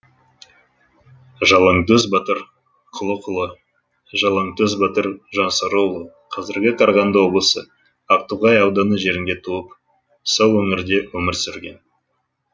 жалаңтөс батыр құлықұлы жалаңтөс батыр жансарыұлы казіргі қарағанды облысы ақтоғай ауданы жерінде туып сол өңірде өмір сүрген